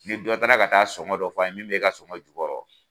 Ni dɔ taara ka taa sɔngɔ dɔ f'a ye, min b'e ka sɔngɔ jukɔrɔ